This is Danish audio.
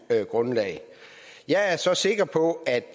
grundlag jeg er så sikker på at